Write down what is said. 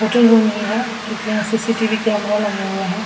Hotel room ही है क्योंकि यहाँ सी.सी.टी.वी. कैमरा लगे हुए है।